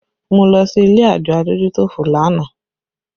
Mo lọ sí ilé àjọ adójútòfò lánàá